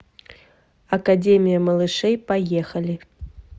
академия малышей поехали